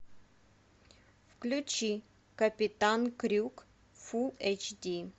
включи капитан крюк фул эйч ди